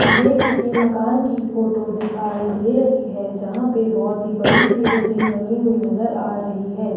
ये किसी मकान की फोटो दिखाई दे रही है जहां पे बहोत ही बड़ी सी बिल्डिंग बनी हुई नजर आ रही है।